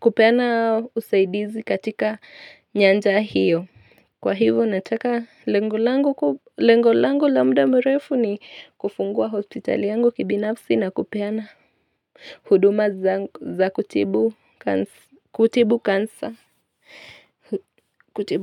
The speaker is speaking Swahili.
kupeana usaidizi katika nyanja hiyo Kwa hivu nataka lengu langu la mbda mrefu ni kufungua hospitali yangu kibinafsi na kupeana huduma za kutibu kansa kutibu.